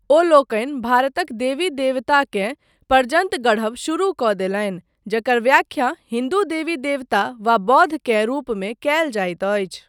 ओ लोकनि भारतक देवी देवताकेँ प्रजन्त गढ़ब शुरु कऽ देलनि, जकर व्याख्या हिन्दु देवी देवता वा बोद्ध केँ रुपमे कयल जाइत अछि।